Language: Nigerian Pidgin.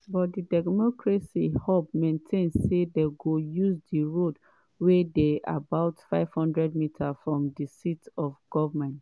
but di democracy hub maintain say dem go use di route wey dey about 500 meters from di seat of goment.